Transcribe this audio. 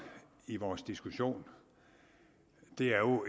i vores diskussion er jo